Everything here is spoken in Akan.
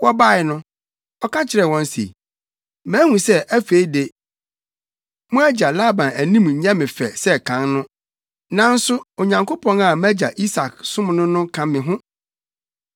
Wɔbae no, ɔka kyerɛɛ wɔn se, “Mahu sɛ afei de, mo agya Laban anim nyɛ me fɛ sɛ kan no, nanso Onyankopɔn a mʼagya Isak som no no ka me ho.